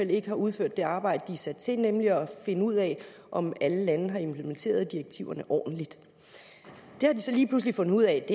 ikke har udført det arbejde de er sat til nemlig at finde ud af om alle landene har implementeret direktiverne ordentligt det har de så lige pludselig fundet ud af at